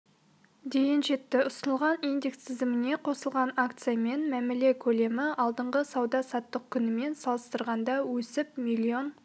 дейін жетті ұсынылған индекс тізіміне қосылған акциямен мәміле көлемі алдыңғы сауда-саттық күнімен салыстырғанда өсіп миллион